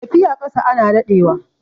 tafiya ƙasa ana daɗewa